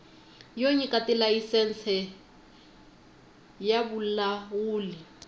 yo nyika tilayisense ya vulawuli